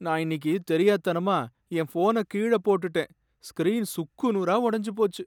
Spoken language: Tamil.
நான் இன்னிக்கு தெரியாத்தனமா என் ஃபோன கீழ போட்டுட்டேன், ஸ்கிரீன் சுக்கு நூறா உடஞ்சு போச்சு!